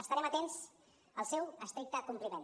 estarem atents al seu estricte compliment